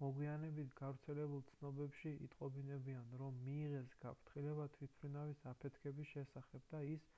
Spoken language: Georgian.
მოგვიანებით გავრცელებულ ცნობებში იტყობინებიან რომ მიიღეს გაფრთხილება თვითმფრინავის აფეთქების შესახებ და ის